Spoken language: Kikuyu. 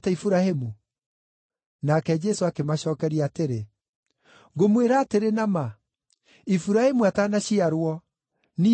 Nake Jesũ akĩmacookeria atĩrĩ, “Ngũmwĩra atĩrĩ na ma, Iburahĩmu atanaciarwo, Niĩ ndũire!”